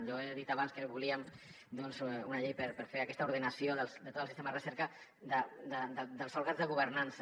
jo he dit abans que volíem una llei per fer aquesta ordenació de tot el sistema de recerca dels òrgans de governança